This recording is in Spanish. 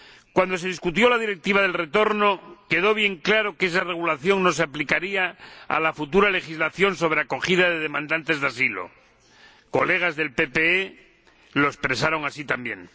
Cuando se debatió la Directiva del retorno, quedó bien claro que esa regulación no se aplicaría a la futura legislación sobre acogida de demandantes de asilo colegas del PPE DE lo expresaron así también.